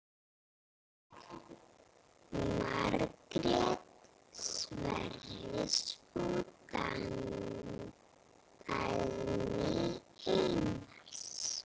Margrét Sverris og Dagný Einars.